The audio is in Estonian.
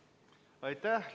Aitäh!